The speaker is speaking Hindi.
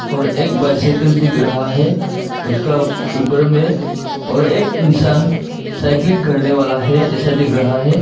और एक बाइसिकल दिख रहा है उसका ऊपर में और एक इंसान साइकिलिंग करने वाला है ऐसा दिख रहा है।